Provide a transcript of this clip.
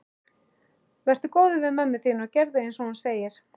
Vertu góður við mömmu þína og gerðu einsog hún segir.